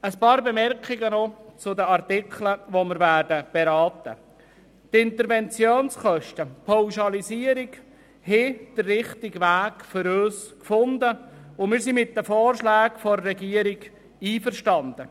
Ein paar Bemerkungen zu den Artikeln, die wir beraten werden: Die Interventionskosten und die Pauschalisierung haben unseres Erachtens den richtigen Weg gefunden, und wir sind mit den Vorschlägen der Regierung einverstanden.